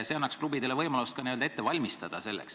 See annaks klubidele võimaluse selleks end ette valmistada.